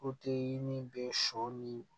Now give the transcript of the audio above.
ni bɛ sɔ ni